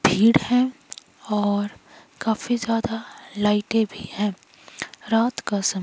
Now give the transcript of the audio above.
भीड़ है और काफी ज्यादा लाइटे भी है रात का सम--